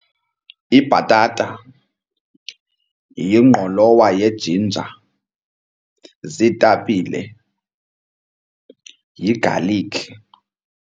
Libhatata, yingqolowa ye-jinja, ziitapile, yigalikhi.